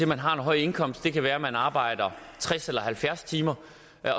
man har en høj indkomst kan være at man arbejder tres eller halvfjerds timer